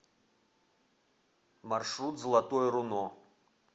маршрут золотое руно